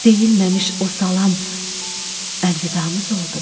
Deyilməmiş o salam əlvidamız oldumu?